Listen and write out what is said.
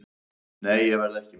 Nei, ég verð ekki með.